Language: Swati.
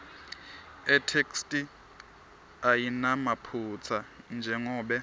itheksthi ayinamaphutsa njengobe